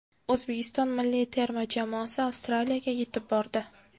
O‘zbekiston milliy terma jamoasi Avstraliyaga yetib bordi.